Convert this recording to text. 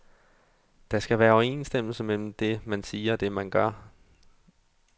Der skal være overensstemmelse mellem det, man siger og det man gør.